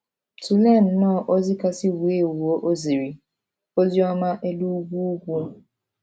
Tụlee nnọọ ozi kasị wuo ewuo o ziri — Oziọma Elu Ugwu Ugwu.